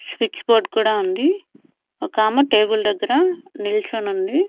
Switch board కూడా ఉంది ఒకామె టేబుల్ దగ్గర నిల్చొనుంది.